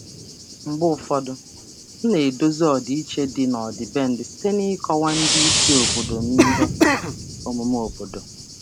Mgbe ụfọdụ, ana m ejikọta ejikọta ọdịiche omenala site n'ịkọwa omume obodo nye ndị oga m si mba ọzọ.